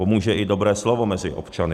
Pomůže i dobré slovo mezi občany.